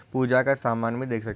पुजा का सामान भी देख सक--